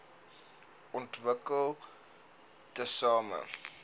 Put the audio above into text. wvp ontwikkel tesame